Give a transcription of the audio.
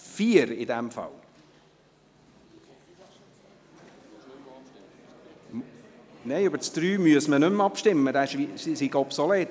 4. Nein, über den Absatzmüsse man nicht mehr abstimmener sei obsolet.